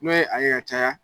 N'o ye a yɛ caya